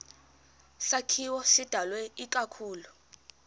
sakhiwo sidalwe ikakhulu